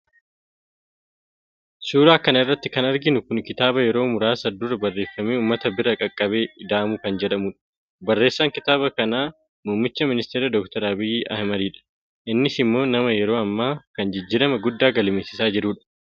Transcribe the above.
suuraa kana irratti kan arginu kun kitaaba yeroo muraasa dura barreeffamee uummata bira qaqqabe ida'amuu kan jedhudha. barreessaan kitaaba kanaa muummicha ministeeraa dooktar abiyyi ahimad dha. innis immoo nama yeroo ammaa kana jijjiirama guddaa galmeessisaa jiru dha.